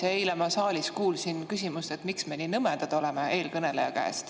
Eile ma kuulsin eelkõneleja käest siin saalis küsimust, miks me nii nõmedad oleme.